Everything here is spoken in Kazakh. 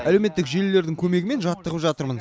әлеуметтік желілердің көмегімен жаттығып жатырмын